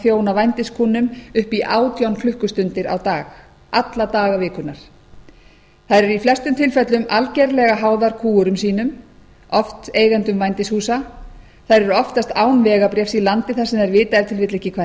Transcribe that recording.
þjóna vændiskúnnum upp í átján klukkustundir á dag alla daga vikunnar þær eru í flestum tilfellum algerlega háðar kúgurum sínum oft eigendum vændishúsa þær eru oftast án vegabréfs í landi sem þær vita ef til vill ekki hvað